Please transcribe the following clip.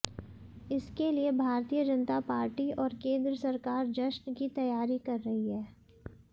इसके लिए भारतीय जनता पार्टी और केंद्र सरकार जश्न की तैयारी कर रही है